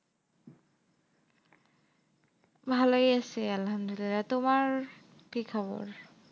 ভালোই আসে আল্লামদুলিল্লাহ তোমার কি খবর?